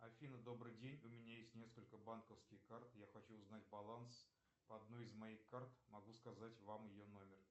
афина добрый день у меня есть несколько банковских карт я хочу узнать баланс по одной из моих карт могу сказать вам ее номер